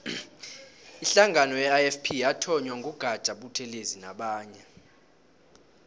ihlangano ye ifp yathonywa ngu gaja buthelezi nabanye